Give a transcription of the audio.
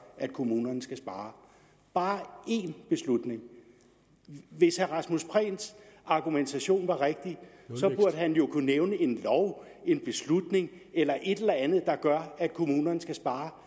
at kommunerne skal spare bare én beslutning hvis herre rasmus prehns argumentation var rigtig burde han jo kunne nævne en lov en beslutning eller et eller andet der gør at kommunerne skal spare